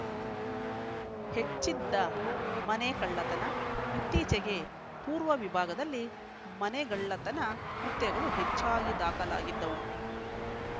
ಹೆಚ್ಚಿದ್ದ ಮನೆ ಕಳ್ಳತನ ಇತ್ತೀಚಿಗೆ ಪೂರ್ವ ವಿಭಾಗದಲ್ಲಿ ಮನೆಗಳ್ಳತನ ಕೃತ್ಯಗಳು ಹೆಚ್ಚಾಗಿ ದಾಖಲಾಗಿದ್ದವು